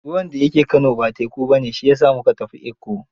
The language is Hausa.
Ruwan da ya ke Kano ba teku ba ne, shi ya sa mu ka tafi Ikko.